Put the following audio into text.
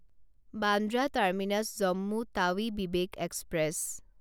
Bandra terminus Jammu Tawi Vivek express